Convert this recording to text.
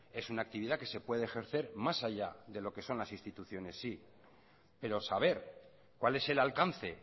es una actividad que se puede ejercer más allá de lo que son las instituciones sí pero saber cuál es el alcance